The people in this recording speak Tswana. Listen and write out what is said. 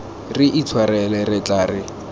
re itshwarela re tla re